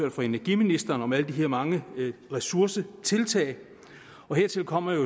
og fra energiministeren hørt om alle de her mange ressourcetiltag hertil kommer